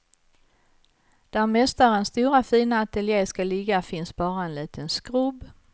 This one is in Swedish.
Där mästarens stora fina ateljé ska ligga finns bara en liten skrubb.